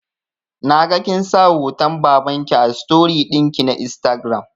Naga kinsa hoton babanki a story ɗinki na instagram